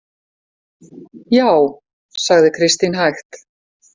Já, sagði Kristín hægt.